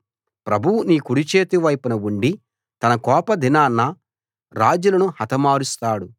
ప్రభువు నీ కుడిచేతి వైపున ఉండి తన కోపదినాన రాజులను హతమారుస్తాడు